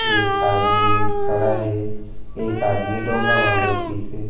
एक आदमी खड़ा हे एक आदमी डोंगा म बैठीस हे।